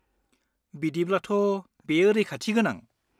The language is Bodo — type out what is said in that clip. बिदिब्लाथ', बेयो रैखाथि गोनां.